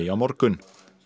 á morgun